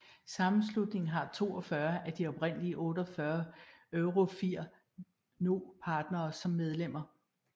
Sammenslutningen har 42 af de oprindelige 48 EuroFIR Noe partnere som medlemmer